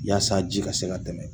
Yasa ji ka se ka tɛmɛ.